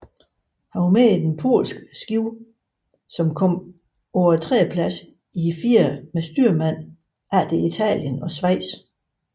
Han var med på den polske båd som kom på en tredjeplads i firer med styrmand efter Italien og Schweiz